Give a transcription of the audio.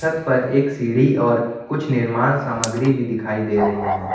छत पर एक सीढ़ी और कुछ निर्माण सामग्री भी दिखाई दे रही है।